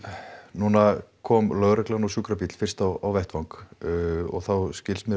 núna kom lögreglan og sjúkrabíll fyrst á vettvang og þá skilst mér